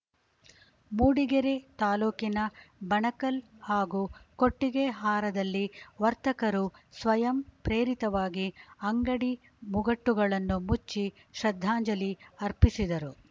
ಮೂಡಿಗೆರೆ ತಾಲೂಕಿನ ಬಣಕಲ್‌ ಹಾಗೂ ಕೊಟ್ಟೆಗೆಹಾರದಲ್ಲಿ ವರ್ತಕರು ಸ್ವಯಂ ಪ್ರೇರಿತವಾಗಿ ಅಂಗಡಿ ಮುಗಟ್ಟುಗಳನ್ನು ಮುಚ್ಚಿ ಶ್ರದ್ಧಾಂಜಲಿ ಅರ್ಪಿಸಿದರು